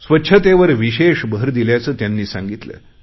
स्वच्छतेवर विशेष भर दिल्याचे त्यांनी सांगितले